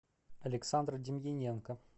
александр демьяненко